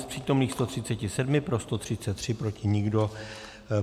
Z přítomných 137 pro 133, proti nikdo.